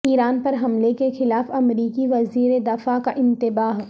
ایران پر حملے کے خلاف امریکی وزیر دفاع کا انتباہ